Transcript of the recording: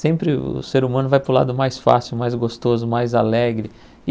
Sempre o ser humano vai para o lado mais fácil, mais gostoso, mais alegre.